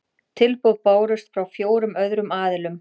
Tilboð bárust frá fjórum öðrum aðilum